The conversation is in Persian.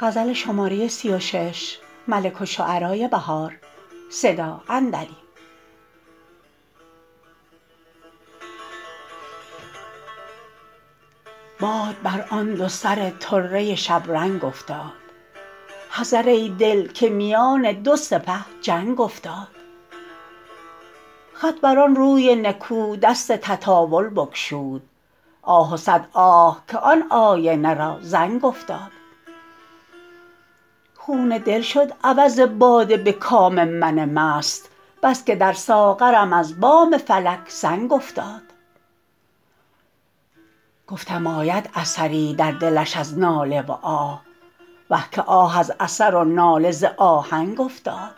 باد بر آن دو سر طره شبرنگ افتاد حذر ای دل که میان دو سپه جنگ افتاد خط بر آن روی نکو دست تطاول بگشود آه و صد آه که آن آینه را زنگ افتاد خون دل شد عوض باده به کام من مست بس که در ساغرم از بام فلک سنگ افتاد گفتم آید اثری در دلش از ناله و آه وه که آه از اثر و ناله ز آهنگ افتاد